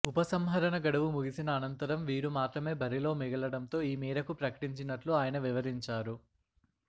ఉపసంహరణ గడువు ముగిసిన అనంతరం వీరు మాత్రమే బరిలో మిగలటంతో ఈ మేరకు ప్రకటించినట్లు ఆయన వివరించారు